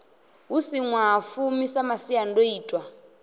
hu si ṅwahafumi sa masiandoitwa